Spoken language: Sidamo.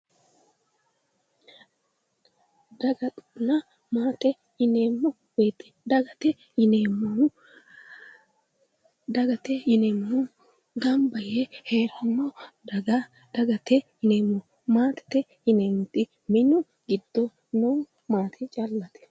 Daganna maate yineemmo woyte dagate yineemmohu gamba yee heeranno daga dagate yineemmo maatete yineemmohu minu giddo noo maate callate